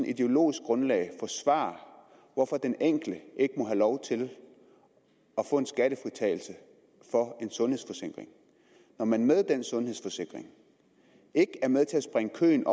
ideologisk grundlag at forsvare hvorfor den enkelte ikke må have lov til at få en skattefritagelse på en sundhedsforsikring når man med den sundhedsforsikring ikke er med til at springe køen